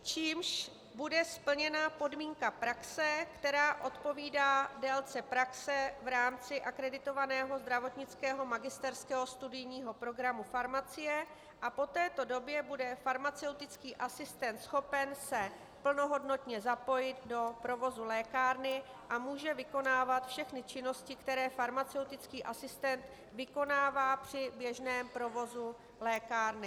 ... čímž bude splněna podmínka praxe, která odpovídá délce praxe v rámci akreditovaného zdravotnického magisterského studijního programu farmacie, a po této době bude farmaceutický asistent schopen se plnohodnotně zapojit do provozu lékárny a může vykonávat všechny činnosti, které farmaceutický asistent vykonává při běžném provozu lékárny.